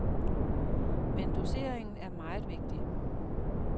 Men doseringen er meget vigtig.